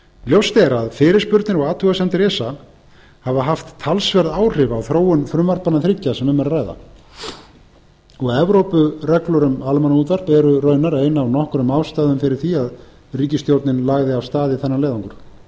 ljóst er að fyrirspurnir og athugasemdir esa hafa haft talsverð áhrif á þróun frumvarpanna þriggja sem um er að ræða og evrópureglur um almannaútvarp eru raunar ein af nokkrum ástæðum fyrir því að ríkisstjórnin lagði af stað í þennan leiðangur það sætir